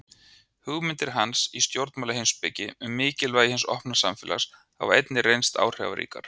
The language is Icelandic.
Hugmyndir hans í stjórnmálaheimspeki um mikilvægi hins opna samfélags hafa einnig reynst áhrifaríkar.